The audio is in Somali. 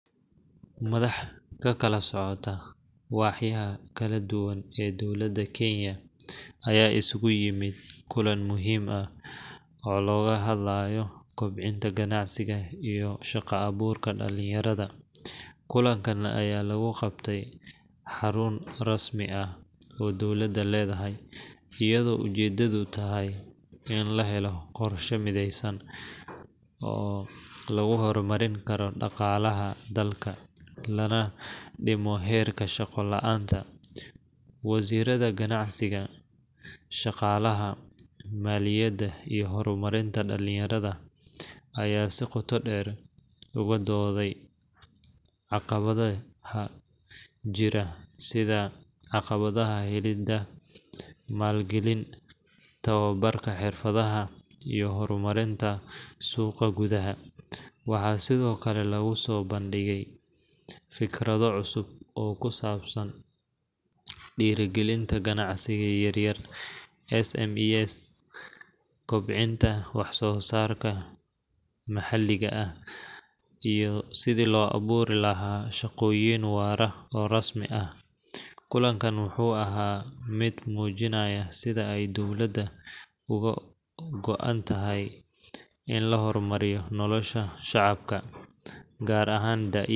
Madax ka kala socota waaxyaha kala duwan ee dowladda Kenya ayaa isugu yimid kulan muhiim ah oo looga hadlayo kobcinta ganacsiga iyo shaqo-abuurka dhalinyarada. Kulankan ayaa lagu qabtay xarun rasmi ah oo dowladda leedahay, iyadoo ujeedadu tahay in la helo qorshe mideysan oo lagu horumarin karo dhaqaalaha dalka, lana dhimo heerka shaqo la’aanta. Wasiirrada ganacsiga, shaqaalaha, maaliyadda, iyo horumarinta dhallinyarada ayaa si qoto dheer uga dooday caqabadaha jira, sida caqabadaha helidda maalgelin, tababarka xirfadaha, iyo horumarinta suuqa gudaha. Waxaa sidoo kale lagu soo bandhigay fikrado cusub oo ku saabsan dhiirrigelinta ganacsiyada yaryar (SMEs), kobcinta wax-soo-saarka maxalliga ah, iyo sidii loo abuuri lahaa shaqooyin waara oo rasmi ah. Kulanku wuxuu ahaa mid muujinaya sida ay dowladda uga go’an tahay in la horumariyo nolosha shacabka, gaar ahaan da'yarta.